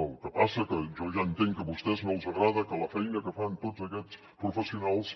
el que passa que jo ja entenc que a vostès no els agrada que la feina que fan tots aquests professionals